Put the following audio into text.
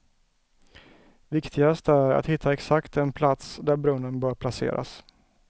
Viktigast är att hitta exakt den plats där brunnen bör placeras.